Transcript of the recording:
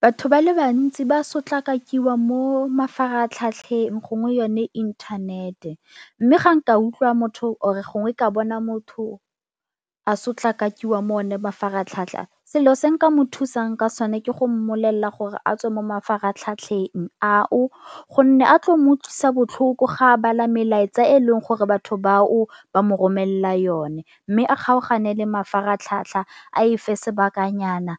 Batho ba le bantsi ba sotlakakiwa mo mafaratlhatlheng gongwe yone inthanete mme ga nka utlwa motho or-e gongwe ka bona motho a sotlakakiwa mo o ne mafaratlhatlha, selo se nka mo thusang ka sone ke go mmolelela gore a tswe mo mafaratlhatlheng ao gonne a tlo mo utlwisa botlhoko ga a bala melaetsa e e leng gore batho ba o ba mo romelela yone. Mme a kgaogane le mafaratlhatlha a e fa sebakanyana